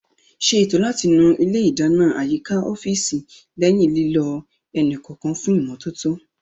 Ṣé ètò láti nu ilé ìdáná àyíká ọ́fíìsì lẹ́yìn lílò ẹni kọ̀ọ̀kan fún ìmọ́tótó